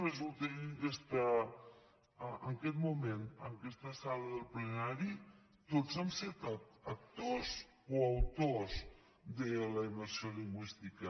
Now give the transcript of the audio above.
resulta que en aquest moment en aquesta sala del plenari tots hem set actors o autors de la immersió lingüística